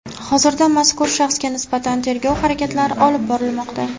Hozirda mazkur shaxsga nisbatan tergov harakatlari olib borilmoqda.